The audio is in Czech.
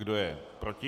Kdo je proti?